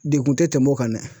Dekun te tɛmɛ o kan dɛ.